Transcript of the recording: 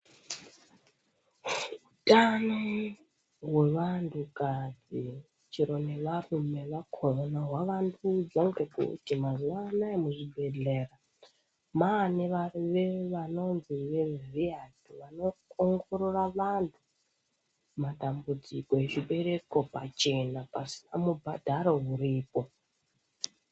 Utano hwevantukadzi chero nevarume vakhona hwavanduzwa ngekuti mazuwa anaya muzvibhehlera mwane varume vanonzi vevhiyasi vanoongorora vanhu matambudziko ezvibereko pachena pasina mubhadharo uripo.